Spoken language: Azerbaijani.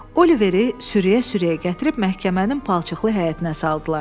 Oliveri sürüyə-sürüyə gətirib məhkəmənin palçıqlı həyətinə saldılar.